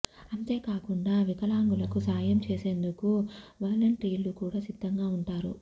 అంతేకాకుం డా వికలాంగులకు సాయం చేసేందుకు వలంటీర్లు కూడా సిద్ధంగా ఉంటారు